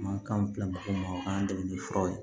Mankan bila mɔgɔ ma o k'an dɛmɛ ni furaw ye